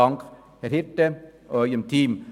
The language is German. Dank Ihnen, Herr Hirte, und Ihrem Team.